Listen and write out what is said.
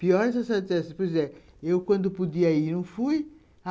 Pior é se a senhora disser assim, por exemplo, eu quando podia ir, não fui.